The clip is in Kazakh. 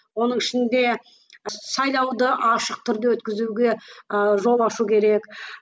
оның ішінде сайлауды ашық түрде өткізуге ыыы жол ашу керек